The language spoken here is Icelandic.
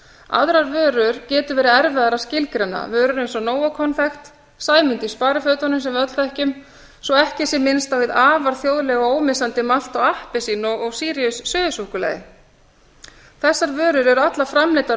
aðrar vörur getur verið erfiðara að skilgreina vörur eins og nóakonfekt sæmundur í sparifötunum sem við öll þekkjum svo ekki sé minnst á hið afar þjóðlega og ómissandi malt og appelsín og síríus suðusúkkulaði þessar vörur eru allar framleiddar úr